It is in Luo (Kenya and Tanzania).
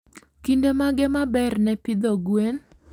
Kinde mage ma ber ne pidho gwen?